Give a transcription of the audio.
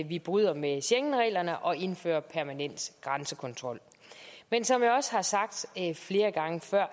vi bryder med schengenreglerne og indfører permanent grænsekontrol men som jeg også har sagt flere gange før